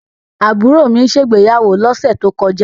Àbúrò mi ṣe ìgbéyàwó lọ́sẹ̀ tó kọjá.